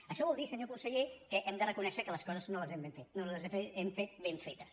això vol dir senyor conseller que hem de reconèixer que les coses no les hem fet ben fetes